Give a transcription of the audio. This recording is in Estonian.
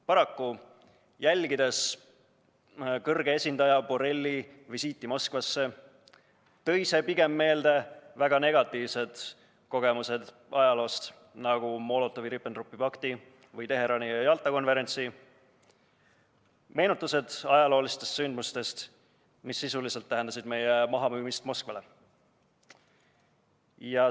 Paraku, jälgides kõrge esindaja Borrelli visiiti Moskvasse, tõi see pigem meelde väga negatiivsed kogemused ajaloost, nagu Molotovi-Ribbentropi pakti või Teherani ja Jalta konverentsi – meenutused ajaloolistest sündmustest, mis sisuliselt tähendasid meie mahamüümist Moskvale.